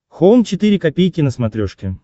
хоум четыре ка на смотрешке